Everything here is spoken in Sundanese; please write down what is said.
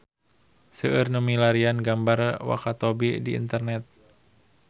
Seueur nu milarian gambar Wakatobi di internet